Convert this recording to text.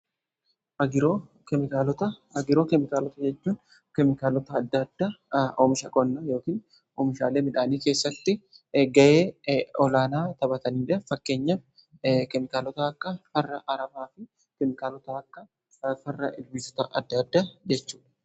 Agiroo keemikaalota; Agiroo keemikaalota jechuun keemikaalota adda adda omisha qonnaa yookin oomishaalee midhaanii keessatti ga'ee olaanaa taphataniidha. Fakkeenya keemikaalota akka farra aramaa fi keemikaalota akka farra ilbiisota adda adda jechuudha.